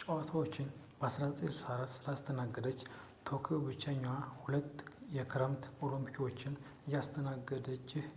ጨዋታዎቹን በ1964 ስላስተናገደች ቶክዮ ብቸኛዋ ሁለት የክረምት ኦሎምፒኮችን ያስተናገደችህ